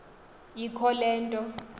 ikho le nto